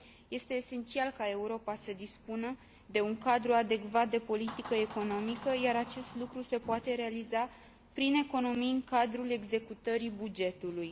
Este esențial ca Europa să dispună de un cadru adecvat de politică economică, iar acest lucru se poate realiza prin economii în cadrul executării bugetului.